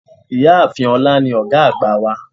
Ìyáàfin olá ní ògá àgbà wa